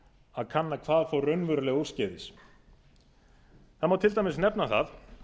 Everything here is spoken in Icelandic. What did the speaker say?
að kanna hvað fór raunverulega úrskeiðis það má til dæmis nefna það